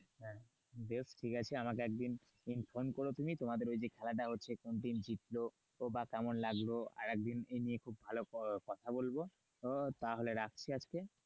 বেশ ঠিক আছে আমাকে একদিন ফোন করো তুমি তোমাদের ওই যে খেলাটা হচ্ছে কে জিতল বা কেমন লাগলো এই নিয়ে আরেক দিন খুব কথা বলবো তো তাহলে রাখছি আজকে,